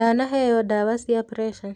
Ndanaheo ndawa cia preca.